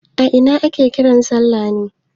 A ina ake kiran salla ne?